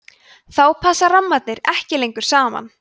þá passa rammarnir ekki lengur saman